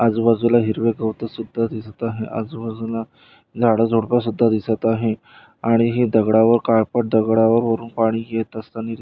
आजूबाजूला हिरव गवतसुद्धा दिसत आहे आजूबाजूला झाड-झुडपंसुद्धा दिसत आहे आणि हे दगडा वा काळपट दगडावरून पाणी येत असतानी--